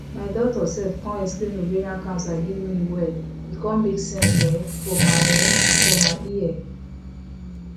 my doctor sef con explain ovarian cancer give me wella e con make sense um for my um for my ear